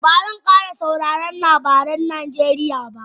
Ba zan kara sauraren labaran Najeriya ba